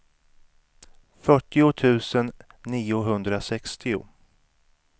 fyrtio tusen niohundrasextio